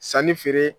Sanni feere